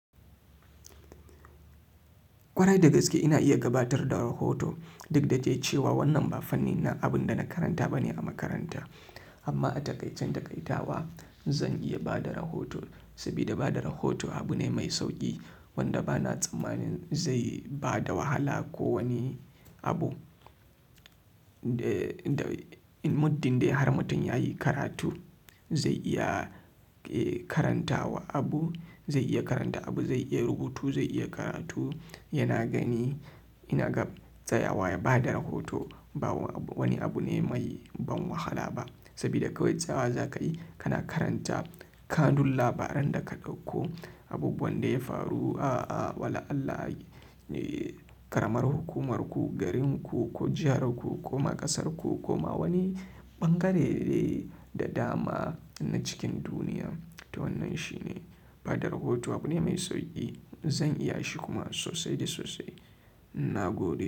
Ƙwarai da gaske ina iya gabatar da rahoto. Dukda dai cewa wannan ba fannin abinda na karanta bane a makaran ta amma a taƙaicin daƙaita wa, zan iya ba da rahoto. Saboda ba da rahoto abu ne mai sauƙi wanda bana tsammanin zai bada wahala ko wani abu. Muddin dai har mutum ya yi karatu zai iya karantawa abu, zai iya karanta abu, zai iya rubutu, zai iya karatu. Yana gani ina ga tsayawa ya bada rahoto. Ba wani abu ne mai ban wahala ba. Saboda kawai tsayawa za ka yi kana karanta kanun labaran da ka ɗauko. Abubuwan da ya faru a, a, wala Allah, ƙaramar hukumar ku, garin ku ko jihar ku kuma ƙasarku kuma wani ɓangare da dama na cikin duniya. To wannan shi ne. Ba da rahoto abu ne mai sauƙi. Zan iya shi kuma sosai sosai. Na gode.